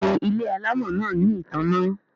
Béèni ile alamò náa ní ìtanná.